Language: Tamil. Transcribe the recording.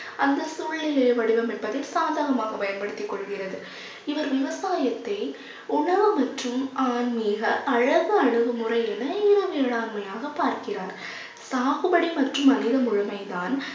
அந்த சூழ்நிலையை வடிவம் என்பதை சாதகமாக பயன்படுத்திக் கொள்கிறது. இவர் விவசாயத்தை உணவு மற்றும் ஆன்மீக அழகு அளவு முறை என இரு வேளாண்மையாக பார்க்கிறார். சாகுபடி மற்றும் மனித முழுமை தான்